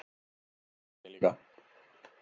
Ég líka